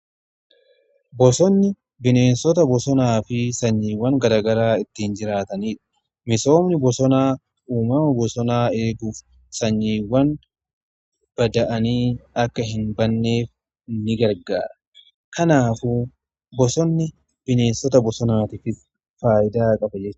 Bosonni bineensota bosonaa fi sanyiiwwan garaagaraa ittiin jiraataniidha. Misoomni bosonaa uumama bosonaa eeguuf sanyiiwwan bada'aanii akka hin banneef ni gargara. Kanaafuu bosonni bineensota bosonaatiif faayidaa qaba jechuudha.